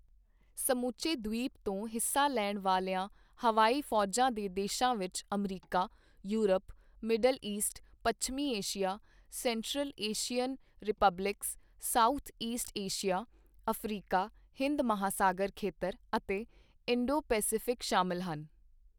ਸਮੁੱਚੇ ਦ੍ਵੀਪ ਤੋਂ ਹਿੱਸਾ ਲੈਣ ਵਾਲੀਆਂ ਹਵਾਈ ਫੌਜਾਂ ਦੇ ਦੇਸ਼ਾਂ ਵਿਚ ਅਮਰੀਕਾ, ਯੂਰਪ, ਮਿਡਲ ਈਸਟ, ਪੱਛਮੀ Asia, Central Asian Republics, South East Asia, Africa, Hind ਮਹਾਸਾਗਰ ਖੇਤਰ ਅਤੇ ਇੰਡੋ ਪੈਸਿਫਿਕ ਸ਼ਾਮਿਲ ਸਨ।